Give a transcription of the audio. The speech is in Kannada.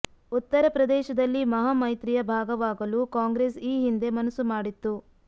ಉತ್ತರಪ್ರದೇಶದಲ್ಲಿ ಮಹಾ ಮೈತ್ರಿಯ ಭಾಗವಾಗಲು ಕಾಂಗ್ರೆಸ್ ಈ ಹಿಂದೆ ಮನಸ್ಸು ಮಾಡಿತ್ತು